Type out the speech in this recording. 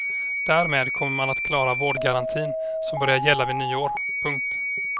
Därmed kommer man att klara vårdgarantin som börjar gälla vid nyår. punkt